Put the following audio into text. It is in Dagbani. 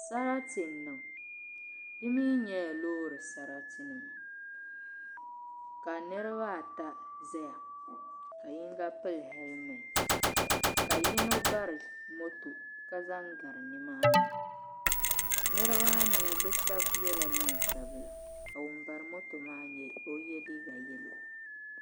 Sarati n niŋ di mii nyɛla loori sarati ka niraba ata ʒɛya ka yinga pili hɛlmɛnt ka yino bari moto ka zaŋ gari nimaani niraba maa mii bi shab yɛla neen sabila ka ŋun bari moto maa mii o yɛ liiga yɛlo